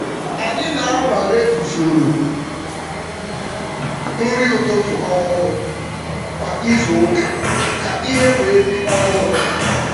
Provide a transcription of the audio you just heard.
Anyị na-anwale usoro na-anwale usoro nri ụtụtụ ọhụrụ kwa izu ụka ka ihe wee dị ọhụrụ.